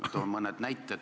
Ma toon mõne näite.